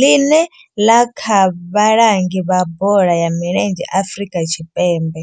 ḽine ḽa vha vhalangi vha bola ya milenzhe Afrika Tshipembe.